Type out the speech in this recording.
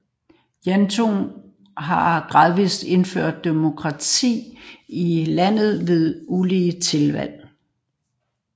Juntaen har gradvist indført demokrati i landet ved ulige tiltag